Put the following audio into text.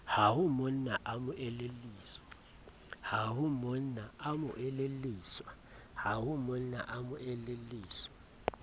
ha monna a mo elelliswa